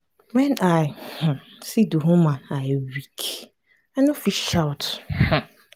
when i um see the woman i weak. i no even fit shout. um